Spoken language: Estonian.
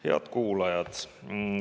Head kuulajad!